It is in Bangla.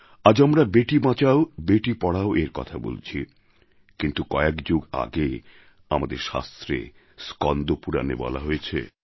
আজ আমরা বেটি বাঁচাও বেটি পড়াওএর কথা বলছি কিন্তু কয়েক যুগ আগে আমাদের শাস্ত্রে স্কন্দ পুরাণে বলা হয়েছে